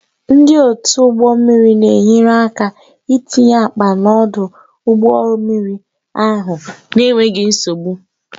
Ndị otu ụgbọ mmiri na-enyere aka itinye akpa n'ọdụ ụgbọ mmiri ahụ n'enweghị nsogbu.